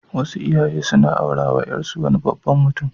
Wasu iyaye sun aurawa ƴarsu wani babban mutum.